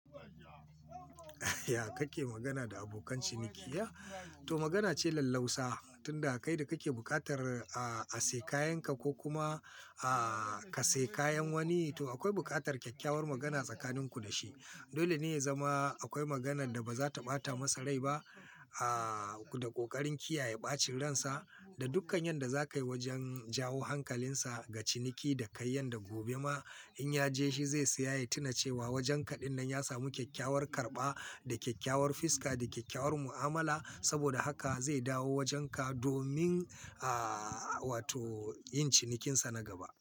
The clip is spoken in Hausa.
Ya kake magana da abokan ciniki? To magana ce lallausa, tunda kai da kake bukatar a siya kayanka ko kuma ka siya kayan wani. To akwai bukatar kyakkyawar magana tsakaninku da shi. Dole ne ya zama akwai maganan da ba za ta ɓata masa rai ba. Da ƙoƙarin kiyaye ɓacin ransa da dukkan yadda za ka yi wajen jawo hankalinsa ga ciniki da kai yadda gobe ma in ya je shi zai saya, ya tuna cewa wajenka dinnan ya samu kyakkyawar karɓa da kyakkyawar fiska da kyakkyawar mu'amala. Saboda haka zai dawo wajenka domin, wato yin cinikinsa na gaba.